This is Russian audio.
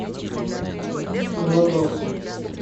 владос